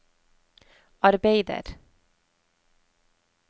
arbeider